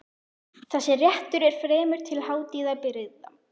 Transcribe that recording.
Þessi réttur er fremur til hátíðabrigða.